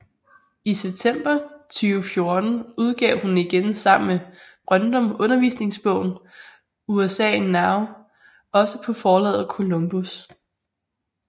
I september 2014 udgav hun igen sammen med Brøndum undervisningsbogen USA Now også på forlaget Columbus